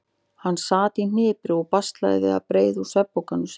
Hann sat í hnipri og baslaði við að breiða úr svefnpokanum sínum.